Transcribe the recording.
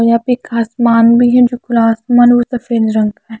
और यहां पे एक आसमान भी है जो खुला आसमान वो सफेद रंग का है।